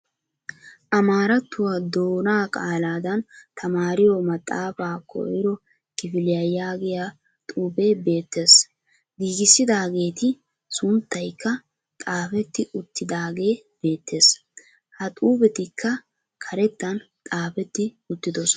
Amaarattuwaa doona qaaladan tamaariyo maxxaafaa koyiro kifiliya yaagiya xuufee beettes. Giigissidaageeti sunttayikka xaafetti uttiidaagee beettes. Ha xuufetikka karettan xaafetti uttidosona.